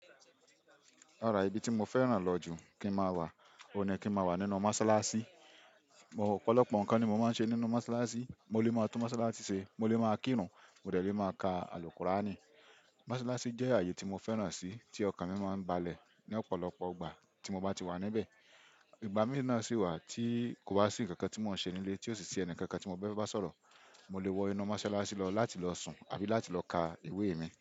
Rara, ibi tí mo fẹ́ràn lọ jù kí n má wà, o ni kí n má wà nínú mọ́ṣáláṣí. Ọ̀pọ̀lọpọ̀ ǹkan ni mo máa ń ṣe nínú mọ́ṣáláṣí. Mo lè máa tún mọ́sálásí ṣe, mo lè máa kírun, mo lè máa ka àlùkuràánì. Mọ́ṣáláṣí jẹ́ ààyè tí mo fẹ́ràn si, tí ọkàn mi máa ń balẹ̀ ni ọ̀pọ̀lọpọ̀ ìgbà tí mo bá ti wà níbẹ̀. Ìgbà mìíràn sì wà tí kò bá sì nkankan tí mò ń ṣe nílé tí ó sì sì ẹnì kankan tí mo fẹ́ bá sọ̀rọ̀, mo lè wọ inu mọ́sálásí lọ láti lọ sùn àbí láti lọ ka ìwé mi.